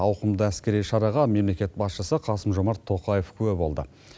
ауқымды әскери шараға мемлекет басшысы қасым жомарт тоқаев куә болды